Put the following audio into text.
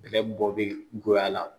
Bɛlɛ bɔ be goya la